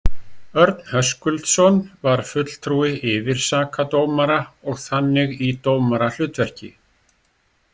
Örn Höskuldsson var fulltrúi yfirsakadómara og þannig í dómarahlutverki.